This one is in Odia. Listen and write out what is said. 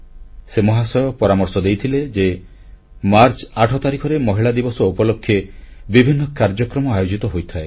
ସେ ମହାଶୟ ପରାମର୍ଶ ଦେଇଥିଲେ ଯେ ମାର୍ଚ୍ଚ 8 ତାରିଖରେ ମହିଳା ଦିବସ ଉପଲକ୍ଷେ ବିଭିନ୍ନ କାର୍ଯ୍ୟକ୍ରମ ଆୟୋଜିତ ହୋଇଥାଏ